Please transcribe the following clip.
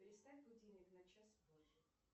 переставь будильник на час позже